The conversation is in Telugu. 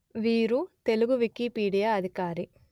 వీరు తెలుగు వికీపీడియా అధికారి